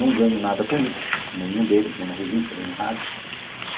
Não ganho nada com isso, nenhum deles, nem na revista, nem no rádio.